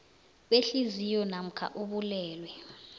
behliziyo namkha ubulwelwe